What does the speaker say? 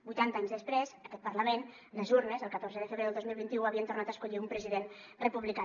vuitanta anys després aquest parlament les urnes el catorze de febrer del dos mil vint u havien tornat a escollir un president republicà